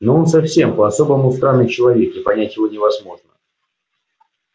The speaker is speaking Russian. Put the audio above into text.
но он совсем по-особому странный человек и понять его невозможно